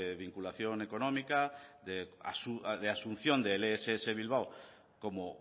vinculación económica de asunción del ess bilbao como